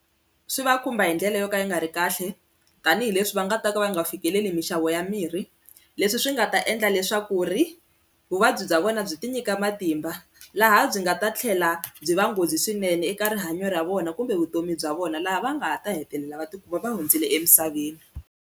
Swi va khumba hi ndlela yo ka yi nga ri kahle tanihileswi va nga ta ka va nga fikeleli mixavo ya mirhi leswi swi nga ta endla leswaku ri vuvabyi bya vona byi ti nyika matimba laha byi nga ta tlhela byi va nghozi swinene eka rihanyo ra vona kumbe vutomi bya vona laha va nga ta hetelela va tikuma va hundzile emisaveni.